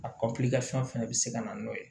A kɔkɔlijɛri fɛn bɛ se ka na n'o ye